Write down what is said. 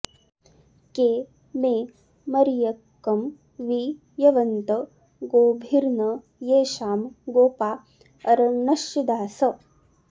के मे॑ मर्य॒कं वि य॑वन्त॒ गोभि॒र्न येषां॑ गो॒पा अर॑णश्चि॒दास॑